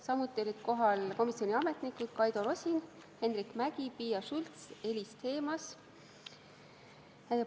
Samuti olid kohal komisjoni ametnikud Kaido Rosin, Henrik Mägi, Piia Schults ja Elis Themas.